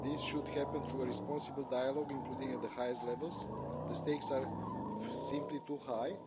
This should happen through a responsible dialogue, including at the highest levels. The stakes are simply too high.